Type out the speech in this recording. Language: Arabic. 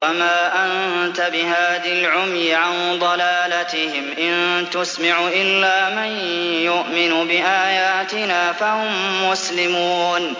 وَمَا أَنتَ بِهَادِ الْعُمْيِ عَن ضَلَالَتِهِمْ ۖ إِن تُسْمِعُ إِلَّا مَن يُؤْمِنُ بِآيَاتِنَا فَهُم مُّسْلِمُونَ